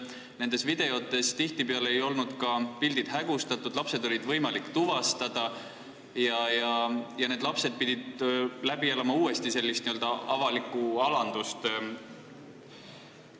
Nendes videotes tihtipeale ei olnud pildid hägustatud, lapsed oli võimalik tuvastada ja nad pidid uuesti sellist avalikku alandust üle elama.